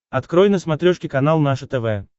открой на смотрешке канал наше тв